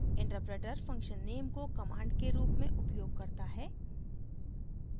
interpreter function name को command के रूप में उपयोग करता है